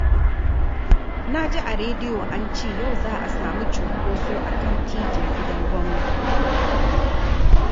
Na ji a rediyo an ce yau za a samu cinkoso a kan Titin Gidan Gwamna